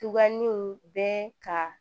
Tubabuun bɛ ka